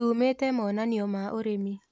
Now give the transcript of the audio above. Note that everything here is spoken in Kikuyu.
Tumĩte monanio ma ũrĩmi